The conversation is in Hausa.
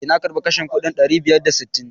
Eh, na karbi kashin kuɗin ɗari biyar da sittin.